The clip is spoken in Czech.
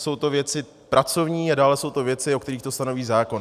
Jsou to věci pracovní a dále jsou to věci, u kterých to stanoví zákon.